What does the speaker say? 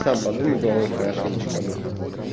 сам подумай головой хорошенечко об этом